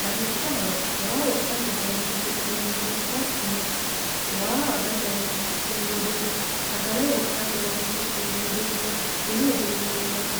lawishshaho waa wodhate Horonsi'neemoho hattono waa agate horonsi'neemo uduune sagale wodhate horonsi'neemo uduune mini uduune yinanni